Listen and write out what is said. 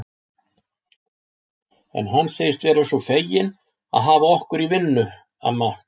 En hann segist vera svo feginn að hafa okkur í vinnu, amma